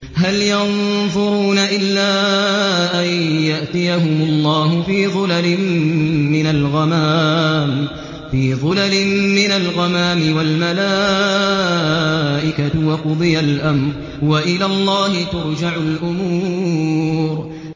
هَلْ يَنظُرُونَ إِلَّا أَن يَأْتِيَهُمُ اللَّهُ فِي ظُلَلٍ مِّنَ الْغَمَامِ وَالْمَلَائِكَةُ وَقُضِيَ الْأَمْرُ ۚ وَإِلَى اللَّهِ تُرْجَعُ الْأُمُورُ